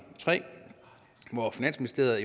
tre hvor finansministeriet er